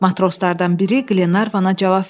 Matroslardan biri Qlenarvana cavab verdi.